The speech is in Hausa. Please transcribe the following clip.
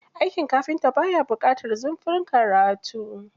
Aikin kafinta ba ya buƙatar zurfin karatu.